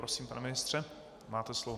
Prosím, pane ministře, máte slovo.